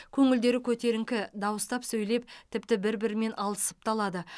көңілдері көтеріңкі дауыстап сөйлеп тіпті бір бірімен алысып та алады